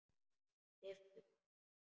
Lyfti brúnum.